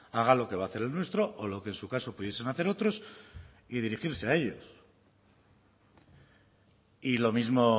haga lo que va a hacer el nuestro o lo que en su caso pudiesen hacer otros y dirigirse a ellos y lo mismo